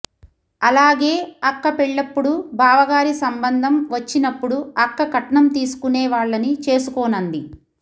ఆలాగే అక్క పెళ్ళప్పుడు బావగారి సంబంధం వచ్చినప్పుడు అక్క కట్నం తీసుకునే వాళ్ళని చేసుకోనంది